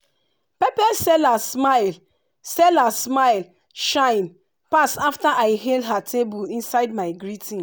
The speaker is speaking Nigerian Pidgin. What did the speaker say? pepper seller smile seller smile shine pass after i hail her table inside my greeting.